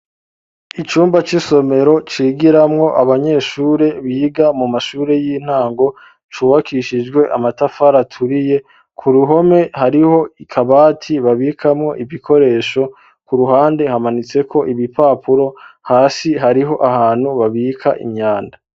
Icumba c'isomero cigiramwo abanyeshure biga mu mashure y'intango cubakishijwe amatafara aturiye ku ruhome hariho akabati babikamwo ibikoresho ku ruhande hamanitseko ibipapuro hasi hariho ahantu babika imyanda.